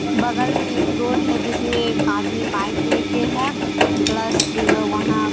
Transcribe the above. बगल में एक रोड है जिसमें एक आदमी बाइक लेके हैं प्लस में वहाँ --